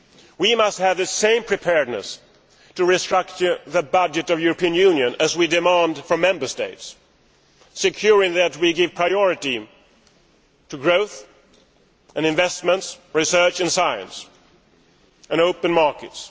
We must have the same level of preparedness to restructure the budget of the European Union as we are demanding from Member States, ensuring that we give priority to growth and investment, research and science and open markets.